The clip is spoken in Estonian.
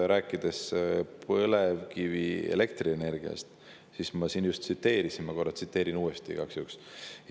Rääkides põlevkivienergiast, siis ma juba siin seda tsiteerisin, aga ma tsiteerin korra igaks juhuks uuesti.